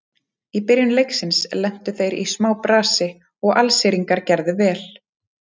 Í byrjun leiksins lentu þeir í smá brasi og Alsíringarnir gerðu vel.